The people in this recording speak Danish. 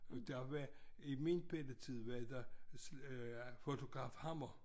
Og der var i min bette tid var der fotograf Hammer